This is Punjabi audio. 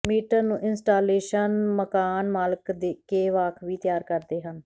ਮੀਟਰ ਨੂੰ ਇੰਸਟਾਲੇਸ਼ਨ ਮਕਾਨਮਾਲਕ ਕੇ ਵਾਕਫੀ ਤਿਆਰ ਕਰਦੇ ਹਨ